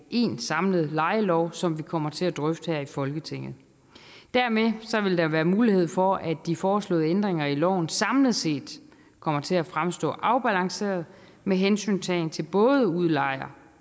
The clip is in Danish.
én samlet lejelov som vi kommer til at drøfte her i folketinget dermed vil der være mulighed for at de foreslåede ændringer af loven samlet set kommer til at fremstå afbalanceret med hensyntagen til både udlejer